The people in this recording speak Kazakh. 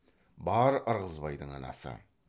бар ырғызбайдың анасы